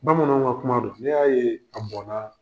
Bamananw ka kuma do n'i y'a ye a bɔn na.